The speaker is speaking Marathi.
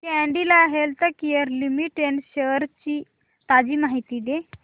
कॅडीला हेल्थकेयर लिमिटेड शेअर्स ची ताजी माहिती दे